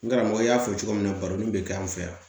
N karamɔgɔ y'a fɔ cogo min na baro in bɛ kɛ an fɛ yan